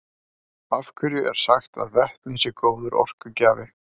af hverju er sagt að vetni sé góður orkugjafi